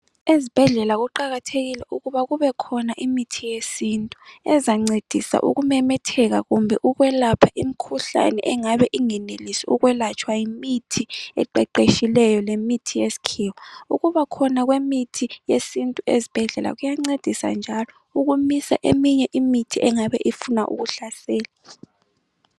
Ezibhedlela kuqakathekile ukuba kubekhona imithi yesintu, ezancedisa ukumemetheka kumbe ukwelapha imikhuhlane engabe ungenelisi ukwelatshwa yimithi eqeqetshileyo lemithi yesikhiwa. Ukuba khona kwemithi yesintu ezibhedlela kuyancedisa njalo ukumisa eminye imithi engabe ifuna ukuhlasela.